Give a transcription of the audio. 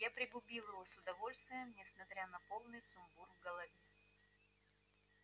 я пригубил его с удовольствием несмотря на полный сумбур в голове